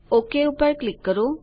okay પર click કરો